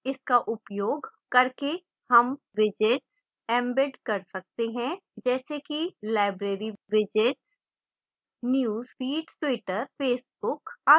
इसका उपयोग करके हम widgets embed कर सकते हैं जैसे कि library widgets news feeds twitter facebook आदि